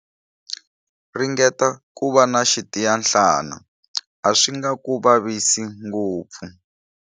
Ringeta ku va na xitiyanhlana, a swi nga ku vavisi ngopfu.